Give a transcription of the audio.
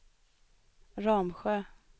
Ramsjö